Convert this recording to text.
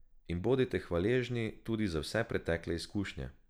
In bodite hvaležni tudi za vse pretekle izkušnje.